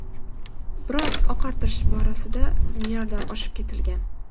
Biroq oqartirish borasida me’yordan oshib ketilgan.